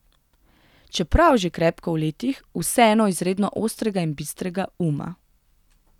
Čeprav že krepko v letih, vseeno izredno ostrega in bistrega uma.